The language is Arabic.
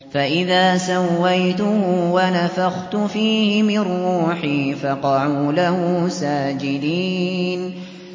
فَإِذَا سَوَّيْتُهُ وَنَفَخْتُ فِيهِ مِن رُّوحِي فَقَعُوا لَهُ سَاجِدِينَ